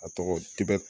A tɔgɔ di bɛ